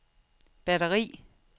batteri